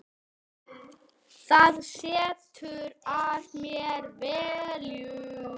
Það setur að mér velgju.